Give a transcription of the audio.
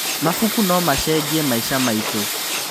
Mabuku no macenjie maica maitũ.